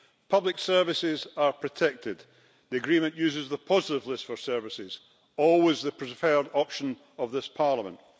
Public services are protected the agreement uses the positive list for services, always the preferred option of this Parliament.